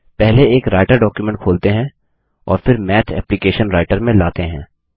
पहले एक Writer document खोलते हैं और फिर मैथ एप्लिकेशन रायटर में लाते हैं